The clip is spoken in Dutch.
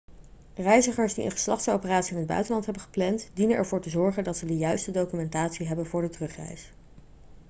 reizigers die een geslachtsoperatie in het buitenland hebben gepland dienen ervoor te zorgen dat ze de juiste documentatie hebben voor de terugreis